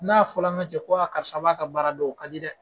N'a fɔla ŋa cɛ ko karisa b'a ka baara dɔn o ka di dɛ.